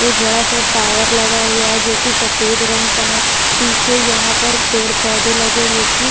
एक बड़ा-सा टावर लगा हुआ है जो कि सफेद रंग का है पीछे यहाँ पर पेड़-पौधे लगे हैं जो कि --